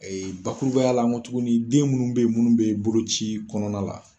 Ee bakurubaya la ngɔ tuguni den munnu be yen munnu be boloci kɔnɔna la